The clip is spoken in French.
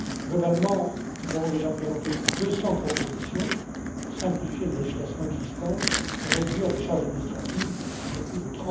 Globalement, nous avons déjà présenté plus de 200 propositions pour simplifier la législation existante et réduire les charges administratives de plus